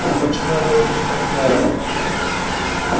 вот почему я должен стать мэром